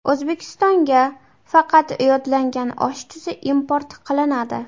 O‘zbekistonga faqat yodlangan osh tuzi import qilinadi.